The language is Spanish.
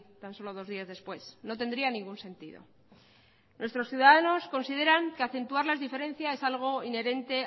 tan solo dos días después no tendría ningún sentido nuestros ciudadanos consideran que acentuar las diferencias es algo inherente